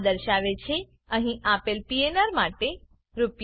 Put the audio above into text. આ દર્શાવે છે કે અહીં આપેલ પીએનઆર માટે રૂ